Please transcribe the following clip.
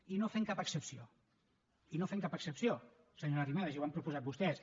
i no fem cap excepció i no fem cap excepció senyora arrimadas i ho han proposat vostès